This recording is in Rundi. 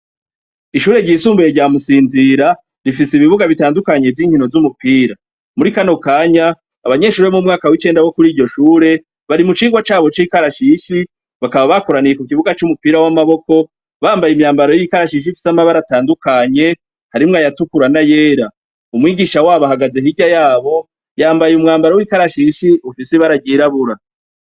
Ishure ryisumbaye rya musinzira rifise ibibuga bitandukanye by'inkino z'umupira muri kano kanya abanyeshure be m'umwaka w'icenda wo kuri iryo shure bari mu cingwa cabo c'ikarashishi bakaba bakuraniye ku kibuga c'umupira w'amaboko bambaye imyambaro y'ikarashish ifise ama bare tandukanye harimwe ayatukura na yera umwigisha wabo ahagaze hijya yabo yambaye umwambaro w'ikarashishi bufise baragirabura.